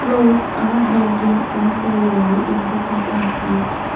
clothes are hanging on the wall in the compartment.